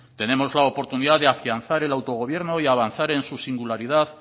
tenemos la oportunidad afianzar el autogobierno y avanzar en su singularidad